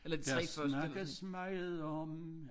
Der snakkes meget om